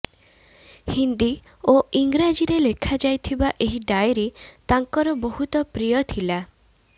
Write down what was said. ହିନ୍ଦୀ ଓ ଇଂରାଜୀରେ ଲେଖା ଯାଇଥିବା ଏହି ଡାଏରୀ ତାଙ୍କର ବହୁତ ପ୍ରିୟ ଥିଲା